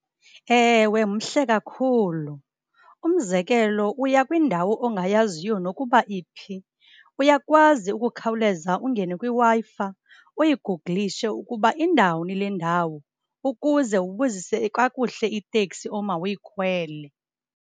Ewe, mhle kakhulu. Umzekelo, uya kwindawo ongayaziyo nokuba iphi uyakwazi ukukhawuleza ungene kwiWi-Fi uyigugulishe ukuba indawuni le ndawo ukuze ubuzise kakuhle itekisi omawuyikhwele.